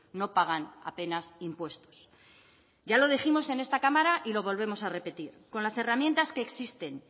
no pagan apenas impuestos ya lo dijimos en esta cámara y lo volvemos a repetir con las herramientas que existen